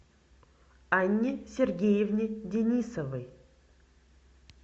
анне сергеевне денисовой